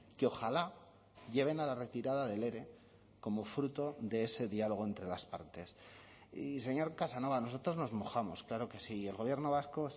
que ojalá lleven a la retirada del ere como fruto de ese diálogo entre las partes y señor casanova nosotros nos mojamos claro que sí y el gobierno vasco